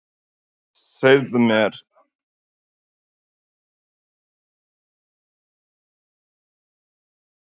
Segðu mér, hver er sagan á bak við tréð hérna á bakvið okkur?